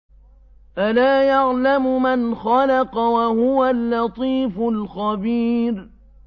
أَلَا يَعْلَمُ مَنْ خَلَقَ وَهُوَ اللَّطِيفُ الْخَبِيرُ